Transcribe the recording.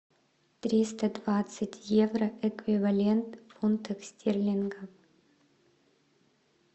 триста двадцать евро эквивалент в фунтах стерлингов